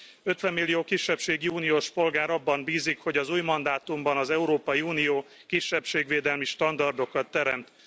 Ötvenmillió kisebbségi uniós polgár abban bízik, hogy az új mandátumban az Európai Unió kisebbségvédelmi standardokat teremt.